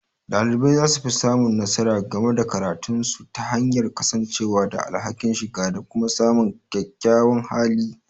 Dalibai za su fi samun nasara game da karatunsu ta hanyar kasancewa da alhakin, shiga, da kuma samun kyakkyawan hali.